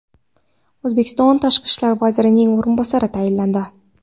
O‘zbekiston tashqi ishlar vazirining o‘rinbosari tayinlandi.